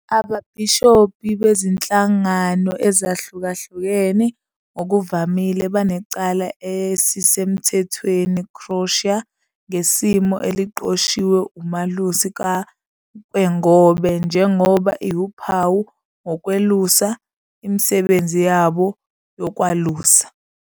Ababhishobhi bezinhlangano ezihlukahlukene ngokuvamile banecala esisemthethweni crosier ngesimo a eliqoshiwe umalusi ka- kwengobe njengoba iwuphawu wokwelusa, imisebenzi yabo yokwalusa.